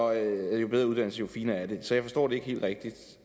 at jo bedre uddannelse jo finere er det så jeg forstår det ikke helt rigtigt